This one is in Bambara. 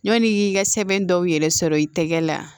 Ɲɔn'i y'i ka sɛbɛn dɔw yɛrɛ sɔrɔ i tɛgɛ la